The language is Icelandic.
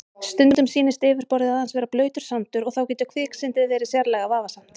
Stundum sýnist yfirborðið aðeins vera blautur sandur og þá getur kviksyndið verið sérlega varasamt.